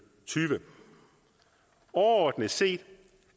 tyve overordnet set